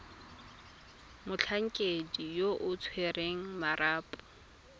motlhankedi yo o tshwereng marapo